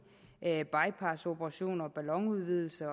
bypassoperationer ballonudvidelser